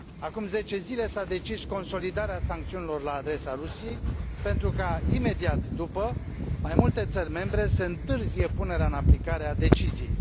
Acum zece zile s a decis consolidarea sancțiunilor la adresa Rusiei, pentru ca, imediat după, mai multe țări membre să întârzie punerea în aplicare a deciziei.